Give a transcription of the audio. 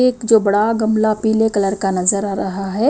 एक जो बड़ा गमला पीले कलर का नजर आ रहा है।